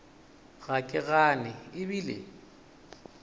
ga ke gane e bile